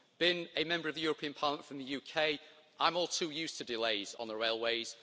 Being a Member of the European Parliament from the UK, I'm all too used to delays on the railways.